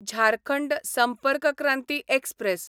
Jharkhand Sampark Kranti express